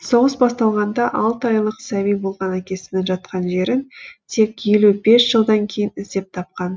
соғыс басталғанда алты айлық сәби болған әкесінің жатқан жерін тек елу бес жылдан кейін іздеп тапқан